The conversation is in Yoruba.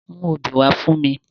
Mú obí wa fun mi!